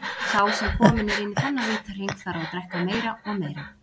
Sá sem kominn er inn í þennan vítahring, þarf að drekka meira og meira.